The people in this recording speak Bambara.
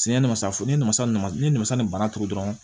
ne masafosa ni ne ma sa ni bana turu dɔrɔn